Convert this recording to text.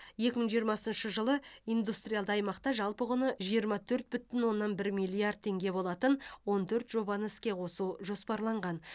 екі мың жиырмасыншы жылы индустриалды аймақта жалпы құны жиырма төрт бүтін оннан бір миллиард теңге болатын он төрт жобаны іске қосу жоспарланған